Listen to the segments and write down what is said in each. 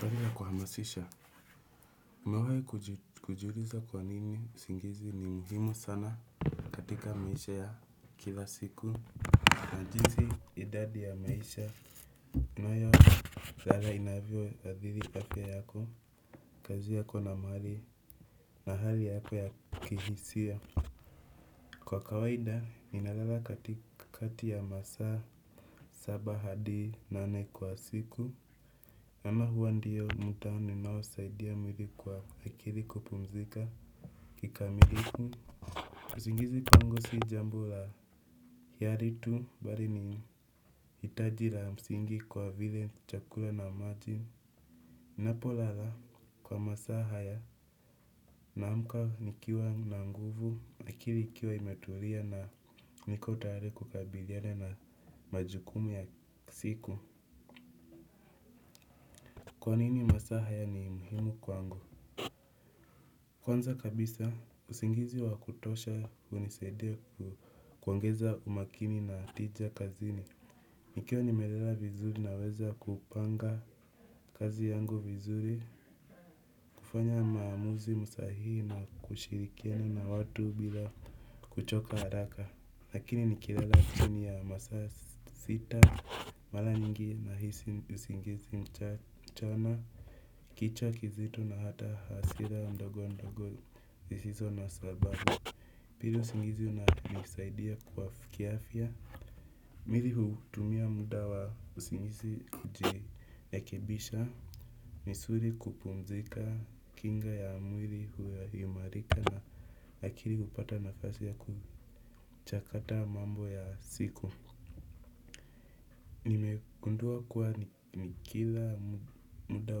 Swali ya kuhamasisha, nimewahi kujuliza kwa nini usingizi ni muhimu sana katika maisha ya kila siku. Na jinsi idadi ya maisha, tunayo lala inavyoathiri afya yako, kazi yako na mahali na hali yako ya kihisia. Kwa kawaida, ninalala katikati ya masaa, saba hadi, nane kwa siku. Ama huwa ndio muda ninaosaidia mwili kwa akili kupumzika kikamilifu. Usingizi kwangu si jambo la hiari tu bali ni hitaji la msingi kwa vile chakula na maji. Napolala kwa masaa haya naamka nikiwa na nguvu, akili ikiwa imetulia na niko tayari kukabiliana na majukumu ya siku. Kwa nini masaa haya ni muhimu kwangu? Kwanza kabisa usingizi wa kutosha hunisaidia kuongeza umakini na tija kazini. Nikiwa nimelela vizuri naweza kupanga kazi yangu vizuri. Kufanya maamuzi sahii na kushirikiana na watu bila kuchoka haraka. Lakini nikilala chini ya masaa sita mara nyingi nahisi usingizi mchana. Kichwa kizito na hata hasira ndogo ndogo zisizo na sababu. Pili usingizi unanisaidia kwa kiafya, mimi hutumia muda wa usingizi kujirekebisha, misuli kupumzika, kinga ya mwili huimarika na akili hupata nafasi ya kuchakata mambo ya siku. Gundua kuwa ni kila muda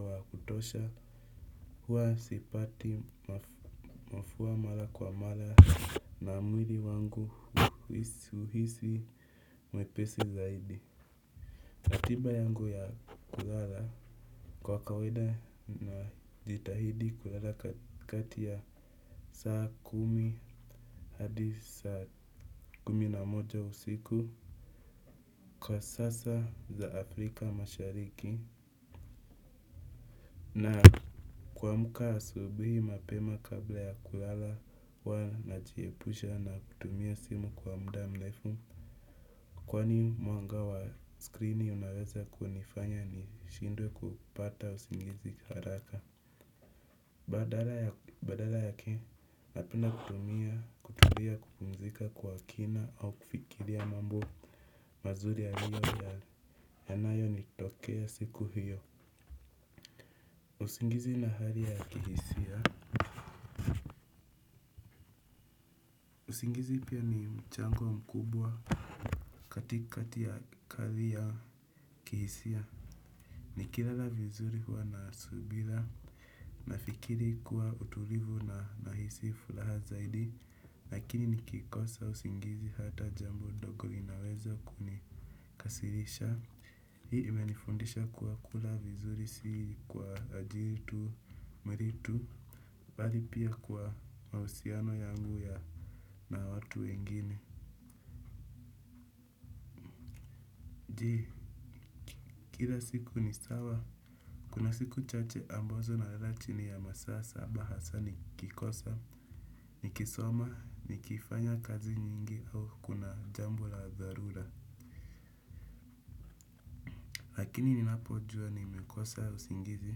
wa kutosha huwa sipati mafua mara kwa mara na mwili wangu huhisi mwepesi zaidi. Ratiba yangu ya kulala kwa kawaida najitahidi kulala kati ya saa kumi hadi saa kumi na moja usiku, kwa sasa za Afrika mashariki na kuamka asubuhi mapema kabla ya kulala huwa najiepusha na kutumia simu kwa muda mrefu kwani mwanga wa screeni unaweza kunifanya nishindwe kupata usingizi haraka. Badala yake napenda kutumia, kutumia, kupumzika kwa kina au kufikiria mambo mazuri yanayo nitokea siku hiyo. Usingizi na hali ya kihisia usingizi pia ni mchango mkubwa katikati ya kazi ya kihisia. Nikilala vizuri huwa na subira nafikiri kuwa utulivu na nahisi furaha zaidi, lakini nikikosa usingizi hata jambo ndogo linaweza kunikasirisha. Hii imenifundisha kuwa kula vizuri si kwa ajili tu, mwili tu, bali pia kwa mahusiano yangu ya na watu wengine. Je, kila siku ni sawa? Kuna siku chache ambazo nalala chini ya masaa saba hasa nikikosa, nikisoma, nikifanya kazi nyingi au kuna jambo la dharura. Lakini ninapojua nimekosa usingizi,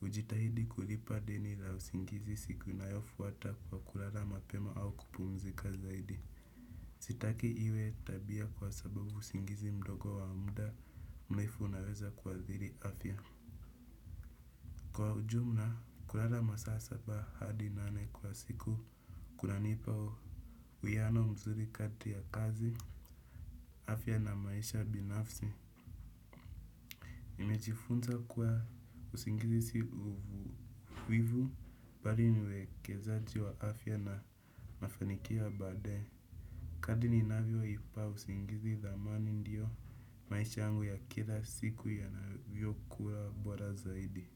hujitahidi kulipa deni la usingizi siku inayofuata kwa kulala mapema au kupumzika zaidi. Sitaki iwe tabia kwa sababu usingizi mdogo wa muda mrefu unaweza kuathiri afya. Ujumla, kulala masaa saba hadi nane kwa siku, kunanipa uwiano mzuri kati ya kazi, afya na maisha binafsi. Nimejifunza kuwa usingizi si uvivu, bali ni uwekezaji wa afya na mafanikio ya baadae. Kadri ninavyoipa usingizi dhamani ndiyo, maisha yangu ya kila siku yanavyokuwa bora zaidi.